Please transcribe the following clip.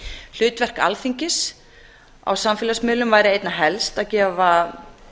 hlutverk alþingis á samfélagsmiðlum væri einna helst að gefa